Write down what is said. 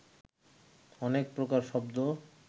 অনেক প্রকার শব্দ